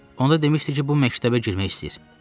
Onda demişdi ki, bu məktəbə girmək istəyir.